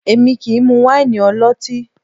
Èmi kì í mú wáìnì ọlọ́tín